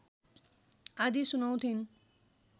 आदि सुनाउँथिन्